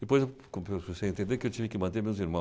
Depois, eu comecei a entender que eu tinha que manter meus irmãos.